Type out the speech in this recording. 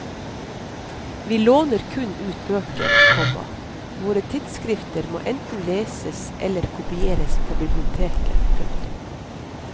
Vi låner kun ut bøker, komma våre tidsskrift må enten leses eller kopieres på biblioteket. punktum